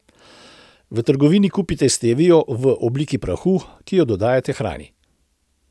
V trgovini kupite stevio v obliki prahu, ki jo dodajate hrani.